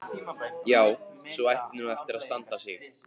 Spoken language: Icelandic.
Já, sú ætti nú eftir að standa sig.